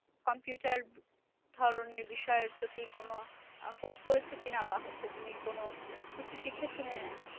Computer ধরনের বিষয়ের প্রতি কোন course করেছো কিনা? বা হচ্ছে তুমি কোন কিছু শিখেছ কিনা?